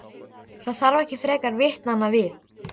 Það þarf ekki frekar vitnanna við.